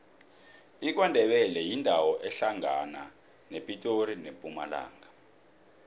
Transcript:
ikwandebele yindawo ehlangana nepitori nempumalanga